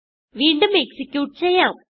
വീണ്ടും എക്സിക്യൂട്ട് ചെയ്യാം